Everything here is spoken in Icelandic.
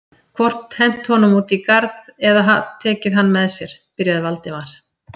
hvort hent honum út í garð eða tekið hann með sér.- byrjaði Valdimar.